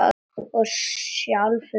Og sjálfum mér.